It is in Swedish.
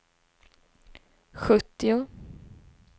sjuttio